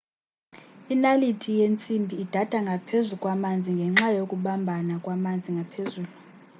inaliti yentsimbi idada ngaphezu kwamanzi ngenxa yokubambana kwamanzi ngaphezulu